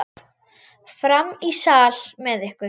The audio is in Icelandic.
Fram í sal með ykkur!